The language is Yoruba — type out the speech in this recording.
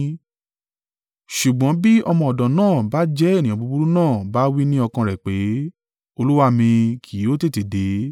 Ṣùgbọ́n bí ọmọ ọ̀dọ̀ náà bá jẹ́ ènìyàn búburú náà bá wí ní ọkàn rẹ̀ pé, ‘Olúwa mi kì yóò tètè dé.’